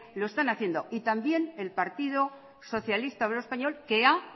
lo están haciendo y también el partido socialista obrero español que ha